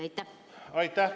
Aitäh!